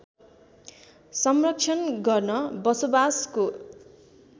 संरक्षण गर्न बसोबासको